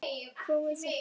Komiði sæl!